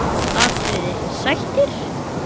atriði: Sættir?